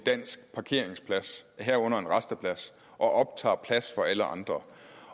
dansk parkeringsplads herunder en rasteplads og optager plads for alle andre